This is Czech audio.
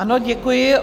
Ano, děkuji.